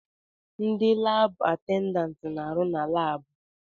Ndi laabụ atendantị na-arụ na laabụ.